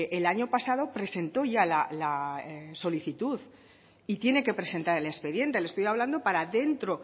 el año pasado presentó ya la solicitud y tiene que presentar el expediente le estoy hablando para dentro